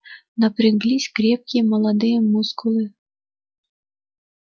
напряглись крепкие молодые мускулы